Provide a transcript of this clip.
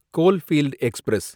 coalfield express